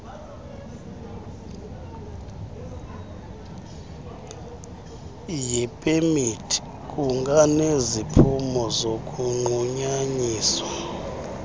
yepemithi kunganeziphumo zokunqunyanyiswa